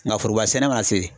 Nga foroba sɛnɛ ma se